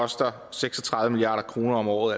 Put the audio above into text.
koster seks og tredive milliard kroner om året